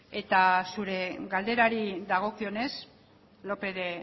eta zure galderari dagokienez lópez de